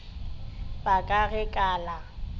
ba ka ge ka la